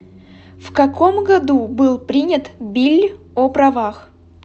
в каком году был принят билль о правах